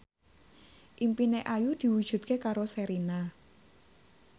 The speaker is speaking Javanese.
impine Ayu diwujudke karo Sherina